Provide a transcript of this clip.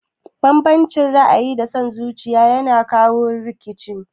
Banbancin ra'ayi da son zuciya yana jawo rikici